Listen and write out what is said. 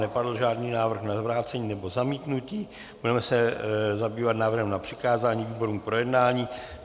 Nepadl žádný návrh na vrácení nebo zamítnutí, budeme se zabývat návrhem na přikázání výborům k projednání.